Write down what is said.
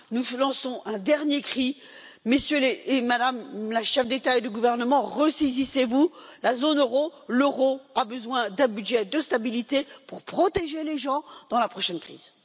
Nous lançons un dernier cri Messieurs et Madame les chefs d'État et de gouvernement, ressaisissez vous, la zone euro, l'euro a besoin d'un budget de stabilité pour protéger les gens dans la prochaine crise.